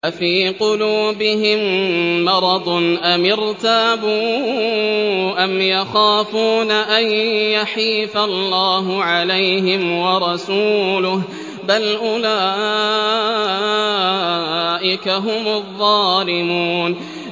أَفِي قُلُوبِهِم مَّرَضٌ أَمِ ارْتَابُوا أَمْ يَخَافُونَ أَن يَحِيفَ اللَّهُ عَلَيْهِمْ وَرَسُولُهُ ۚ بَلْ أُولَٰئِكَ هُمُ الظَّالِمُونَ